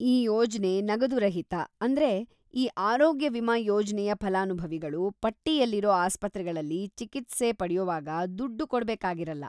ಈ ಯೋಜನೆ ನಗದುರಹಿತ, ಅಂದ್ರೆ ಈ ಆರೋಗ್ಯ ವಿಮಾ ಯೋಜ್ನೆಯ ಫಲಾನುಭವಿಗಳು ಪಟ್ಟಿಯಲ್ಲಿರೋ ಆಸ್ಪತ್ರೆಗಳಲ್ಲಿ ಚಿಕಿತ್ಸೆ ಪಡ್ಯೋವಾಗ ದುಡ್ಡು ಕೊಡ್ಬೇಕಾಗಿರಲ್ಲ.